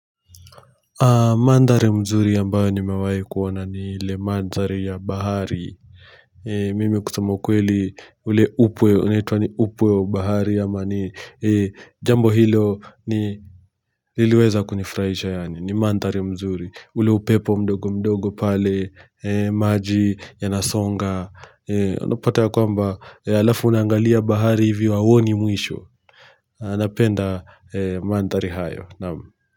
Mandari mzuri ambayo nimewai kuona ni le mandari ya bahari mimi kusema kweli ule upwe unaitua ni upwe wa bahari ama ni jambo hilo nililiweza kunifraisha yani ni mandari mzuri ule upepo mdogo mdogo pale maji yanasonga onopataya kwamba alafu unangalia bahari hivi wawoni mwisho anapenda mandari hayo namu.